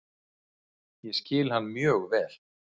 Ég skil hann mjög vel.